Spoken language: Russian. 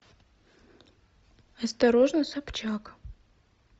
осторожно собчак